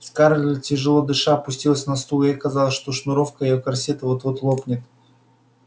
скарлетт тяжело дыша опустилась на стул ей казалось что шнуровка её корсета вот-вот лопнет